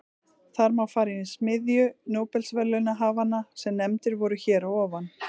Þar má fara í smiðju nóbelsverðlaunahafanna sem nefndir voru hér að ofan.